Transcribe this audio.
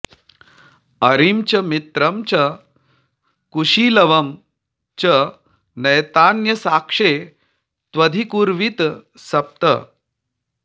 अरिं च मित्रं च कुशीलवं च नैतान्साक्ष्ये त्वधिकृर्वीत सप्त